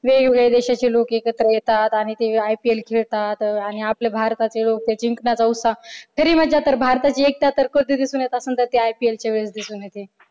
वेगवेगळ्या देशाचे लोक एकत्र येतात आणि ते ipl खेळतात आणि आपले भारताचे लोक ते जिंकण्याचा उत्साह खरी मज्जा तर भारताची एकटा तर कधी दिसून येते तर ती ipl च्या वेळेस दिसून येते